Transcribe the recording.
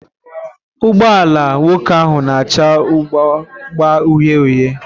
Ụgbọ ala nwoke ahụ na-acha bụ agba uhie uhie.